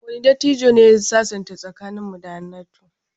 Wane dattijon ne ya sasanta tsakanin Musa da Hannatu?